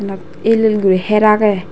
eynot el el guri heir age.